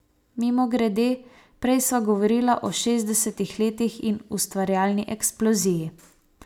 Mimogrede, prej sva govorila o šestdesetih letih in ustvarjalni eksploziji.